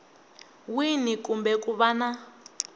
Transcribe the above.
wini kumbe ku va na